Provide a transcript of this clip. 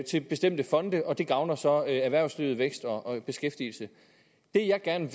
til bestemte fonde og det gavner så erhvervslivet vækst og beskæftigelse det jeg gerne